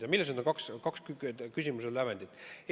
Ja millised on need kaks küsimuse lävendit?